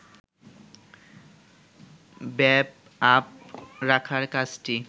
ব্যাপআপ রাখার কাজটি